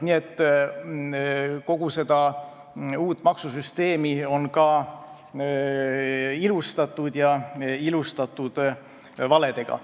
Nii et kogu seda uut maksusüsteemi on ka ilustatud valedega.